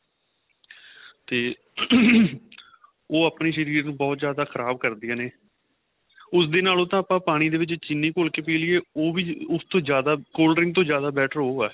ਤੇ ਉਹ ਆਪਣੇਂ ਸ਼ਰੀਰ ਨੂੰ ਬਹੁਤ ਜਿਆਦਾ ਖ਼ਰਾਬ ਕਰਦੀਆਂ ਨੇ ਉਸ ਦੇ ਨਾਲੋਂ ਤਾਂ ਆਪਾਂ ਪਾਣੀ ਦੇ ਵਿੱਚ ਚਿੰਨੀ ਘੋਲ ਕੇ ਪੀਹ ਲਈਏ ਉਹ ਵੀ ਉਸ ਤੋ ਜਿਆਦਾ cold drink ਤੋ ਜਿਆਦਾ better ਉਹ ਏ